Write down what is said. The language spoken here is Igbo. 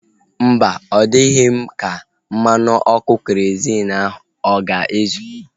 Mba, ọ dịghị m ka mmanụ ọkụ kerozịn ahu ọ ga-ezu